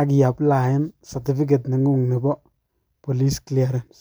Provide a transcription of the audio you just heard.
akiapliaen certificate nengung nebo police clearance.